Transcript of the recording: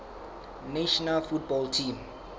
national football team